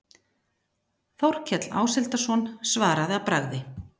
Þórkell Áshildarson svaraði að bragði